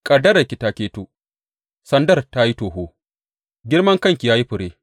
Ƙaddararki ta keto, sandar ta yi toho, girman kai ya yi fure!